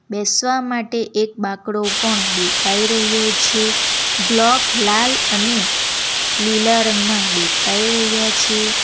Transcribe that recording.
બેસવા માટે એક બાકડો પણ દેખાઈ રહ્યો છે બ્લોક લાલ અને લીલા રંગના દેખાય રહ્યા છે.